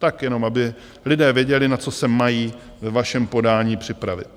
Tak jenom, aby lidé věděli, na co se mají ve vašem podání připravit.